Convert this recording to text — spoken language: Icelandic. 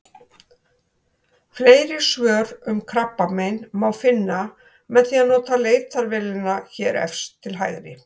Fleiri svör um krabbamein má finna með því að nota leitarvélina hér efst til hægri.